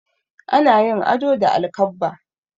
Ana yin ado da alkabba.